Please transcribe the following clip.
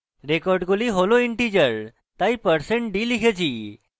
রেকর্ডগুলি হল integers তাই আমরা% d লিখেছি